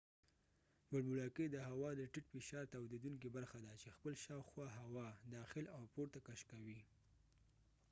بوړبوړکۍ د هوا د ټیټ فشار تاویدونکې برخه ده چې خپل دشاوخوا هوا داخل او پورته کش کوي